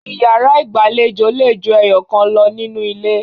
Ìyàrá ìgbàlejò le ju ẹyọ̀kan lọ nínú ilé.